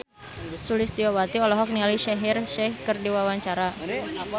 Sulistyowati olohok ningali Shaheer Sheikh keur diwawancara